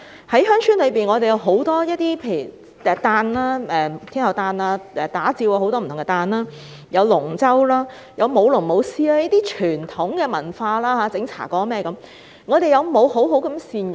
鄉村有很多傳統節日，例如天后誕、打醮等，也有扒龍舟、舞龍、舞獅、製作茶粿等傳統文化活動，我們有否好好善用？